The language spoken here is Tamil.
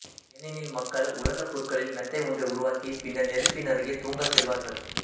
ஏனெனில் மக்கள் உலர்ந்த புற்களில் மெத்தை ஒன்றை உருவாக்கி பின்னர் நெருப்பின் அருகே தூங்கச் செல்வார்கள்